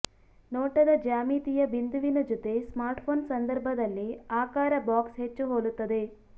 ನೋಟದ ಜ್ಯಾಮಿತೀಯ ಬಿಂದುವಿನ ಜೊತೆ ಸ್ಮಾರ್ಟ್ಫೋನ್ ಸಂದರ್ಭದಲ್ಲಿ ಆಕಾರ ಬಾಕ್ಸ್ ಹೆಚ್ಚು ಹೋಲುತ್ತದೆ